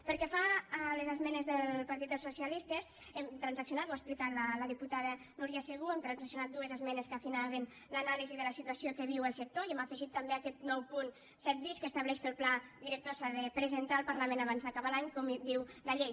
pel que fa a les esmenes del partit dels socialistes hem transaccionat ho ha explicat la diputada núria segú dues esmenes que afinaven l’anàlisi de la situa ció que viu el sector i hem afegit també aquest nou punt set bis que estableix que el pla director s’ha de presentar al parlament abans d’acabar l’any com diu la llei